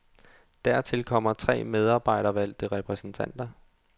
Dertil kommer tre medarbejdervalgte repræsentanter.